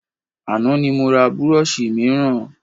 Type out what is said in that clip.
Àná ni mo ra burọ̀ṣì mìíràn